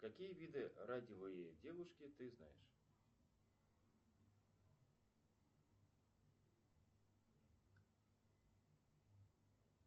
какие виды радивые девушки ты знаешь